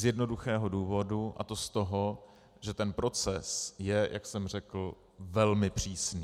Z jednoduchého důvodu, a to z toho, že ten proces je, jak jsem řekl, velmi přísný.